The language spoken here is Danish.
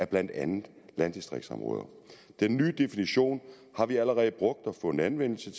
blandt andet landdistriktsområder den nye definition har vi allerede brugt og fundet anvendelse